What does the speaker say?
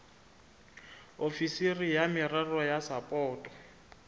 ofisiri ya merero ya sapoto